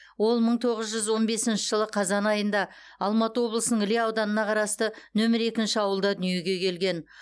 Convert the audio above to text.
ол мың тоғыз жүз он бесінші жылы қазан айында алматы облысының іле ауданына қарасты нөмірі екінші ауылда дүниеге келген